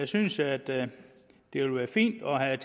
synes at det vil være fint at have